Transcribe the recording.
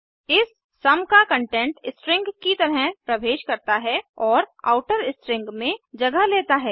इस सम का कंटेंट स्ट्रिंग की तरह प्रवेश करता है और आउटर स्ट्रिंग में जगह लेता है